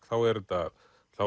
þá er þetta